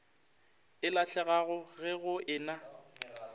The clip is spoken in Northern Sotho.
e lahlegago ge go ena